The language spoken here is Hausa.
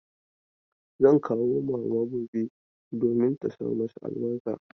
Zan kawo mama gobe domin ta sa masa albarka.